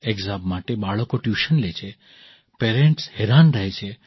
exam માટે બાળકો tuition લે છે પેરન્ટ્સ હેરાન રહે છે